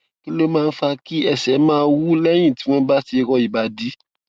kí ló máa ń fa kí ẹsè máa wú léyìn tí wón bá ti rọ ìbàdí